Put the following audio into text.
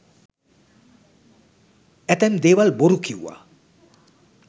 ඇතැම් දේවල් බොරු කිව්ව.